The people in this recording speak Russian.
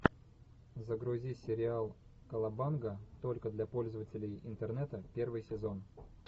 загрузи сериал колобанга только для пользователей интернета первый сезон